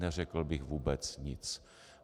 Neřekl bych vůbec nic.